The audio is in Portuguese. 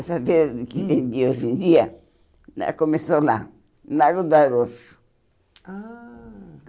Essa feira que tem de hoje em dia né, começou lá, em Nago do Aroço. Ah